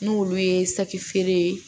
N'olu ye saki feere